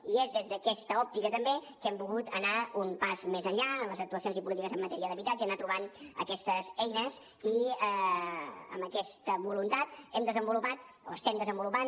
i és des d’aquesta òptica també que hem volgut anar un pas més enllà en les actuacions i polítiques en matèria d’habitatge anar trobant aquestes eines i amb aquesta voluntat hem desenvolupat o estem desenvolupant